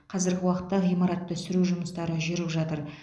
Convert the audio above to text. қазіргі уақытта ғимаратты сүру жұмыстары жүріп жатыр